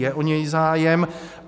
Je o něj zájem.